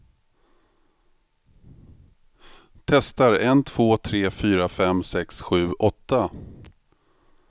Testar en två tre fyra fem sex sju åtta.